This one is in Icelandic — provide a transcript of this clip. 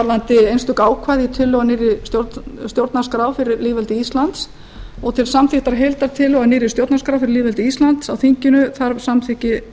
varðandi einstök ákvæði í tillögunni að nýrri stjórnarskrá fyrir lýðveldið ísland og til samþykktar að heildartillögu að nýrri stjórnarskrá fyrir lýðveldið ísland á þinginu þarf samþykki